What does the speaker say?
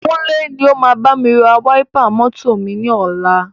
Kúnlé ni o máa bámi ra wáípà mọ́tọ̀ ni ọ̀la.